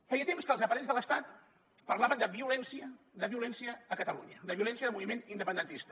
feia temps que els aparells de l’estat parlaven de violència a catalunya de la violència del moviment independentista